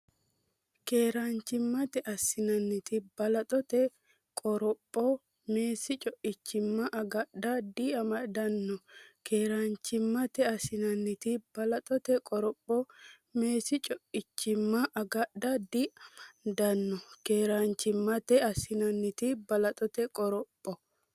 Keeraanchimmate assinanniti balaxote qoropho meessi co’imma agadha diamaddanno Keeraanchimmate assinanniti balaxote qoropho meessi co’imma agadha diamaddanno Keeraanchimmate assinanniti balaxote qoropho.